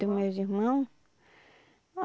Dos meus irmão?